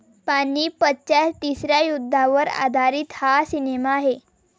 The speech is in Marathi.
पानिपतच्या तिसऱ्या युद्धावर आधारित हा सिनेमा आहे.